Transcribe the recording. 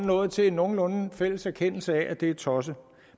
nået til en nogenlunde fælles erkendelse af at det er tosset